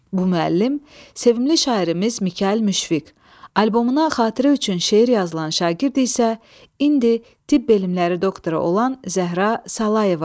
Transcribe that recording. Bu müəllim sevimli şairimiz Mikayıl Müşfiq, albomuna xatirə üçün şeir yazılan şagird isə indi tibb elmləri doktoru olan Zəhra Salayeva idi.